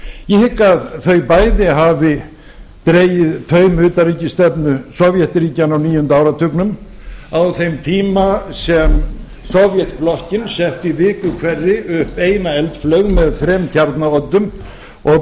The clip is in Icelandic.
ég hygg að þau bæði hafi dregið taum utanríkisstefnu sovétríkjanna á níunda áratugnum á þeim tíma sem sovétblokkin sendi í viku hverri upp eina eldflaug með þrem kjarnaoddum og